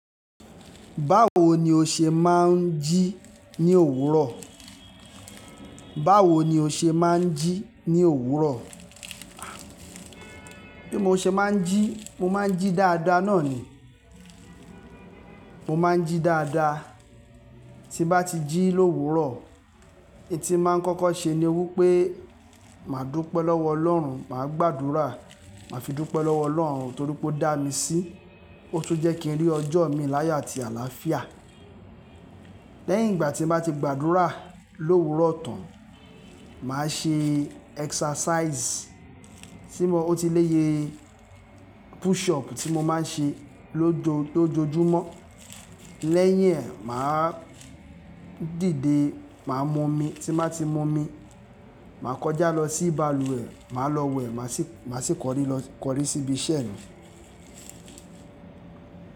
Báwo ni o ṣe máa ń jí ní òwúrọ̀? Báwo ni o ṣe máa ń jí ní òwúrọ̀? Bí mo ṣe máa ń jí, mo máa ń jí dáadáa náà ni. Mo máa ń jí dáadáa. Tí bá ti jí l'òwúrọ̀, in tí màá ń kọ́kọ́ ṣe ni wípé, màá dúpẹ́ lọ́wọ́ ọlọ́run, màá gbàdúrà, màá fi dúpẹ́ lọ́wọ́ ọlọ́run torí pé ó dá mi sí, ó tun jẹ́ kí n rí ọjọ́ mi láyé àti àlàáfíà. Lẹ́yìn ìgbà tí màá ti gbàdúrà l'òwúrọ̀ tán, màá ṣe exercise tí mo-- ó ti lé ye push up tí mo máa ń ṣe lójo- lójoojúmọ́. Lẹ́yìn ẹ, màá dìde, màá mu omi. Tí baa ti mu omi, màá kọjá lọ sí balùwẹ̀, màá lọ wẹ̀, màá sì- màá sì kọrí lọ-- kọrí síbi iṣẹ́ mi.